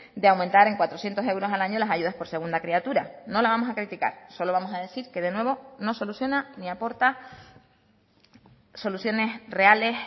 de aumentar en cuatrocientos euros al año las ayudas por segunda criatura no la vamos a criticar solo vamos a decir que de nuevo no soluciona ni aporta soluciones reales